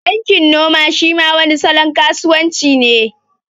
Bankin noma shi ma wani salon kasuwan ci ne